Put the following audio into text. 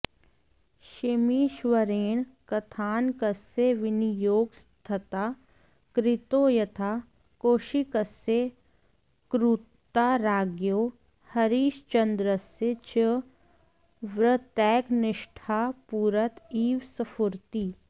क्षेमीश्वरेण कथानकस्य विनियोगस्तथा कृतो यथा कौशिकस्य क्रूरता राज्ञो हरिश्चन्द्रस्य च व्रतैकनिष्ठता पुरत इव स्फुरति